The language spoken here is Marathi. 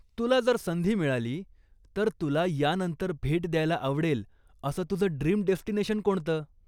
तुला जर संधी मिळाली, तर तुला यानंतर भेट द्यायला आवडेल असं तुझं ड्रीम डेस्टिनेशन कोणतं?